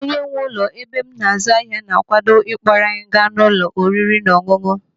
Onye nwe ụlọ ebe m azụ ahịa na-akwado ịkpọrọ anyị gaa n'ụlọ oriri na ọṅụṅụ.